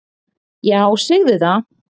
"""Já, segðu það!"""